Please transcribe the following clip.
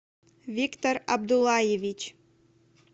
виктор абдуллаевич